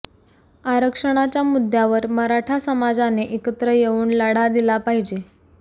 आरक्षणाच्या मुद्द्यावर मराठा समाजाने एकत्र येऊन लढा दिला पाहिजे